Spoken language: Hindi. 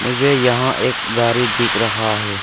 मुझे यहा एक गाड़ी दिख रहा है।